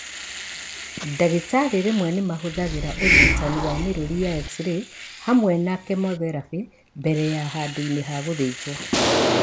Ndagĩtarĩ rĩmwe nĩmahũthagĩra ũrigitani wa mĩrũri ya x-ray hamwe na kĩmotherapĩ, mbere kana handũ-inĩ ha gũthĩnjwo